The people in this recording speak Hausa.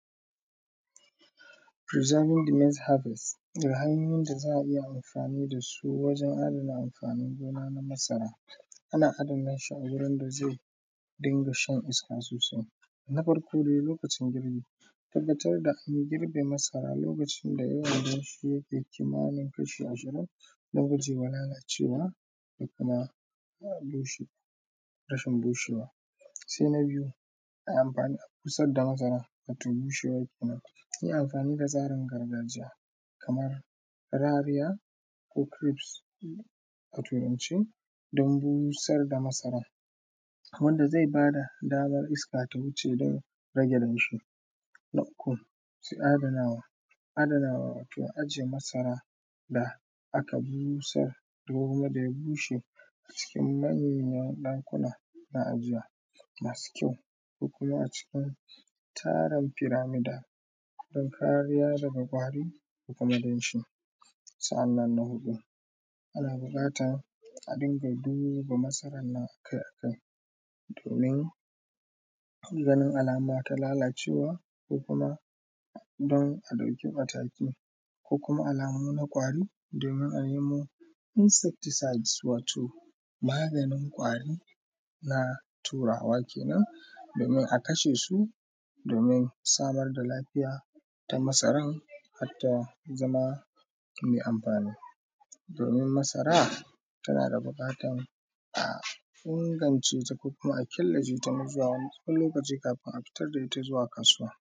Preserving da maize harvest, hanyoyin da za a iya amfani da su wajen adana amfanin gona na masara, ana adana shi a wurin da zai dinga shan iska sosai. Na farko dai, lokacin girbi, a tabbatar da an girbe masara lokacin da na gujewa lalacewa da kuma rashin bushewa. Sai na biyu, amfanin busar da masara, wato bushewa kenan. Yi amfani da tsarin gargajiya, kamar rariya ko crips a Turance don busar da masaran, wanda zai ba da daman iska ta wuce don rage damshi. Na uku, adanawa, adanawa wato ajiye masara da aka busar, duk wanda ya bushe cikin manoma, ɗakuna na ajiya masu kyau, ko kuma acikin tarin firamida don kariya daga ƙwari da kuma damshi. Sa’annan na huɗu, ana buƙatan a dinga duba masaran nan akai-akai, domin ganin alama ta lalacewa, ko kuma don a ɗauki mataki, ko kuma alamu na ƙwari domin a nemo insecticides wato maganin ƙwari na Turawa kenan, domin a kasha su, domin samar da lafiya ta masaran har ta zama mai amfani, domin masara tana da buƙatan a ingance ta ko kuma a killace ta na zuwa tsawon wani lokaci kafin a fitar da ita zuwa kasuwa.